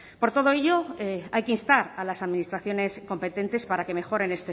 por todo ello hay que instar a las administraciones competentes para que mejoren